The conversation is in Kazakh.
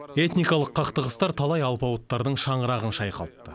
этникалық қақтығыстар талай алпауыттардың шаңырағын шайқалтты